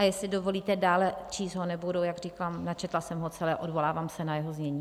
A jestli dovolíte, dále číst ho nebudu, jak říkám, načetla jsem ho celé, odvolávám se na jeho znění.